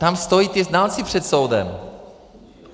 Tam stojí ti znalci před soudem.